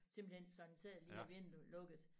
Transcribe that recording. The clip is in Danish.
Simpelthen sådan ser lige er vinduet lukket